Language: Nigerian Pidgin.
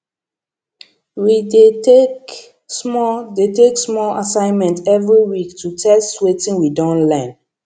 we dey take small dey take small assignment every week to test wetin we don learn